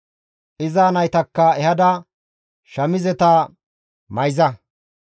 Iza naytakka ehada shamizeta mayza.